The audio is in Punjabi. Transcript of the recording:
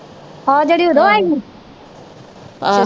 ਉਹ ਜਿਹੜੀ ਓਦੋ ਆਈ ਹੀ